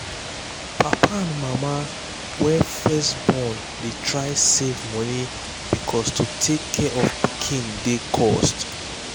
papa and mama wey first born um dey try save money because to take care of pikin dey cost.